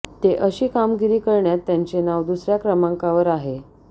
ते अशी कामगिरी करण्यात त्यांचे नाव दुसऱ्या क्रमांकावर आहे